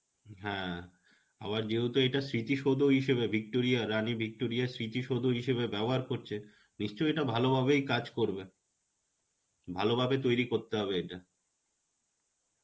হ্যাঁ, আবার যেহেতু এটা স্মৃতি সৌধ হিসাবে Victoria রানী Victoria স্মৃতি সৌধ হিসাবে ব্যবহার করছে নিশ্চয় এটা ভালোভাবেই কাজ করবে. ভালোভাবে তৈরী করতে হবে এটা.